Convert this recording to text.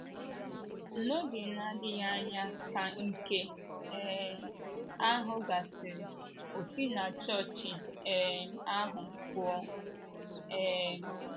N’oge na - adịghị anya ka nke um ahụ gasịrị, O si na chọọchị um ahụ pụọ. um